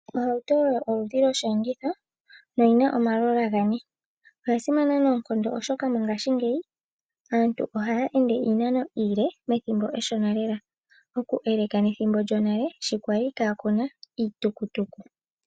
Ohauto oyo osheenditho shina omalola gane. Oya simana noonkondo oshoka mongaashingeyi aantu ohaya ende iinano iile ethimbo efupi lela oku elekanitha nethimbo lyonale sho kwali kaa kuna iitukutuku.